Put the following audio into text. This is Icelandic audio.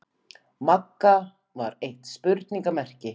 Magga var eitt spurningarmerki.